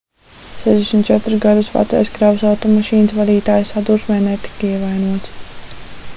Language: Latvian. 64 gadus vecais kravas automašīnas vadītājs sadursmē netika ievainots